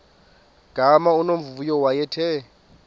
gama unomvuyo wayethe